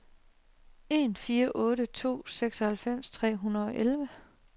en fire otte to seksoghalvfems tre hundrede og elleve